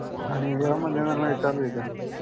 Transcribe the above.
आणि अहमदनगरमध्ये चालू आहे का?